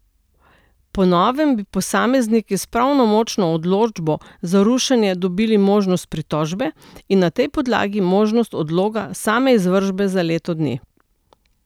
Po novem bi posamezniki s pravnomočno odločbo za rušenje dobili možnost pritožbe in na tej podlagi možnost odloga same izvršbe za leto dni.